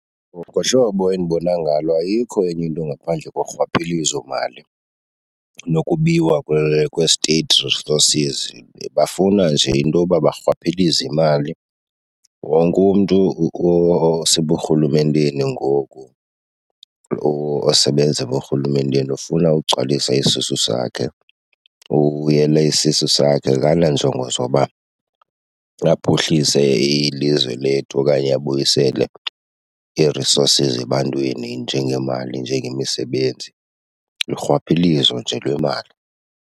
Ngohlobo endibona ngalo ayikho enye into ngaphandle korhwaphilizomali nokubiwa kwee-state resources. Bafuna nje intoba barhwaphilize imali. Wonke umntu oseburhulumenteni ngoku, osebenza eburhulumenteni ufuna ugcwalisa isisu sakhe. Uyele isisu sakhe akananjongo zoba aphuhlise ilizwe lethu okanye abuyisele ii-resources ebantwini njengeemali, njengemisebenzi. Lurhwaphilizo nje lwemali.